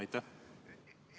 Aitäh!